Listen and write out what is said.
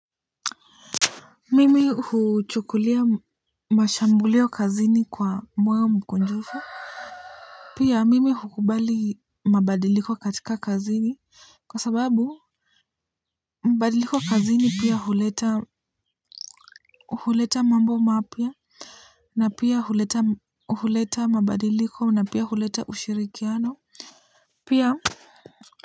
Mimi huchukulia mashambulio kazini kwa moyo mkunjufu. Pia mimi hukubali mabadiliko katika kazini, kwa sababu mabadiliko kazini pia huleta huleta mambo mapya na pia huleta mabadiliko na pia huleta ushirikiano pia.